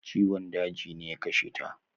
Ciwon daji ne ya kashe ta